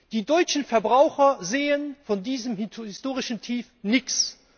Die deutschen Verbraucher sehen von diesem historischen Tief nichts.